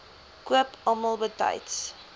koop almal betyds